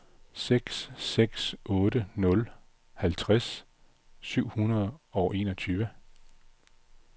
seks seks otte nul halvtreds syv hundrede og enogtyve